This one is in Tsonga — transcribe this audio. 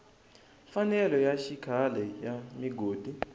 mfanelo ya xikhale ya migodi